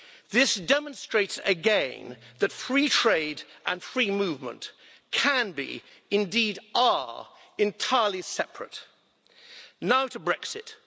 This demonstrates again that free trade and free movement can be indeed are entirely separate. Now to Brexit.